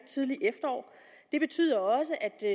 tidlige efterår det betyder også at jeg